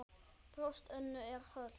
Brjóst Önnu er holt.